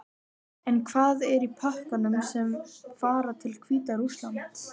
En hvað er í pökkunum sem fara til Hvíta-Rússlands?